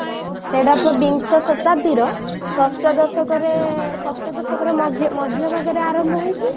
ସେଟା ପରା ବିଂଶ ଶତାବ୍ଦୀର ଷଷ୍ଠ ଦଶକରେ ଷଷ୍ଠ ଦଶକରେ ମଧ୍ୟ ମଧ୍ୟ ଭାଗରେ ଆରମ୍ଭ ହେଇକି